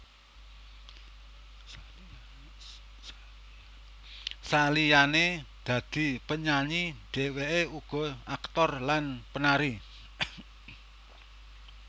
Saliyane dadi penyanyi dheweke uga aktor lan penari